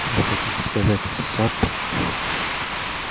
вы хотите сказать сатт